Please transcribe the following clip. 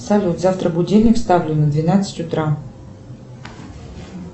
салют завтра будильник ставлю на двенадцать утра